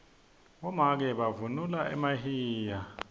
bomake bavunula emahiya